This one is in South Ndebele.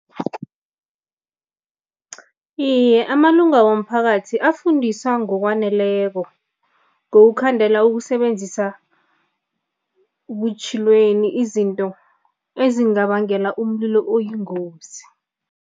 Iye, amalunga womphakathi afundisa ngokwaneleko ngokukhandela ukusebenzisa butjhilweni izinto ezingabangela umlilo oyingozi.